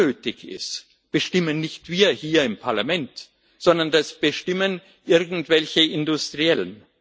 Was unnötig ist, bestimmen nicht wir hier im Parlament, sondern das bestimmen irgendwelche Industriellen.